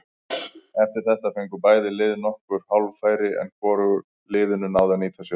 Eftir þetta fengu bæði lið nokkur hálffæri en hvorug liðin náðu að nýta sér þau.